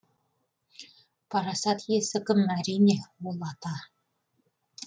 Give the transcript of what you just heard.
парасат иесі кім әрине ол ата